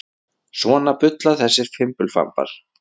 Svona bulla þessir fimbulfambar.